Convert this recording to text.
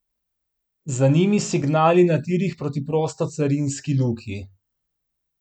Za njimi signali na tirih proti prostocarinski luki.